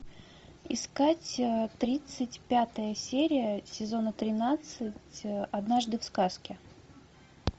искать тридцать пятая серия сезона тринадцать однажды в сказке